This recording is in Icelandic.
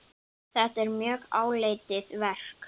Þetta er mjög áleitið verk.